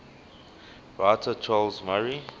writer charles murray